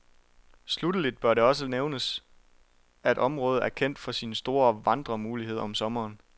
Sluttelig bør det også lige nævnes, at området er kendt for sine store vandremuligheder om sommeren.